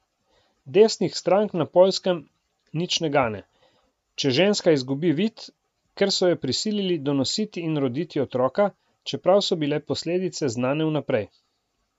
Desnih strank na Poljskem nič ne gane, če ženska izgubi vid, ker so jo prisilili donositi in roditi otroka, čeprav so bile posledice znane vnaprej.